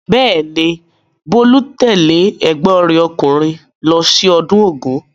Bẹ́ẹ̀ ni, Bolu's tẹ́lẹ̀ ẹ̀gbọ́n rẹ̀ ọkùnrin lọ sí ọdún Ògún.